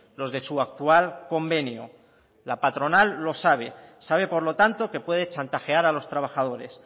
los de su actual convenio la patronal lo sabe sabe por lo tanto que puede chantajear a los trabajadores